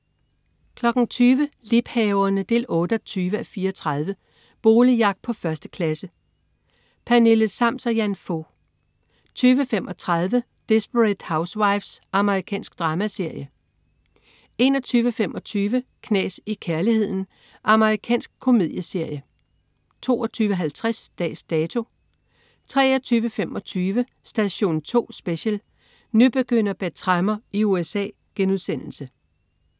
20.00 Liebhaverne 28:34. Boligjagt på 1. klasse. Pernille Sams og Jan Fog 20.35 Desperate Housewives. Amerikansk dramaserie 21.25 Knas i kærligheden. Amerikansk komedieserie 22.50 Dags Dato 23.25 Station 2 Special: Nybegynder bag tremmer i USA*